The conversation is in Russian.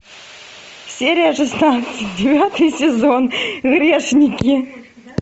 серия шестнадцать девятый сезон грешники